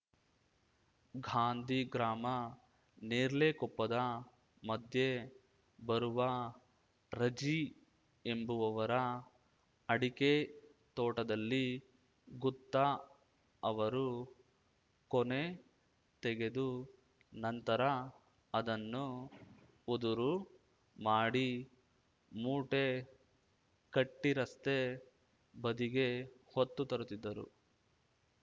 ಗಾಂಧಿಗ್ರಾಮ ನೇರ್ಲೆಕೊಪ್ಪದ ಮಧ್ಯೆ ಬರುವ ರಜಿ ಎಂಬವವರ ಅಡಕೆ ತೋಟದಲ್ಲಿ ಗುತ್ತ ಅವರು ಕೊನೆ ತೆಗೆದು ನಂತರ ಅದನ್ನು ಉದುರು ಮಾಡಿ ಮೂಟೆ ಕಟ್ಟಿರಸ್ತೆ ಬದಿಗೆ ಹೊತ್ತು ತರುತ್ತಿದ್ದರು